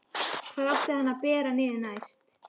Hvar átti hann að bera niður næst?